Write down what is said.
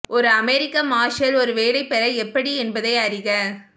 ஒரு அமெரிக்க மார்ஷல் ஒரு வேலை பெற எப்படி என்பதை அறிக